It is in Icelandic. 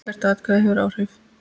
Hvert atkvæði hefur áhrif.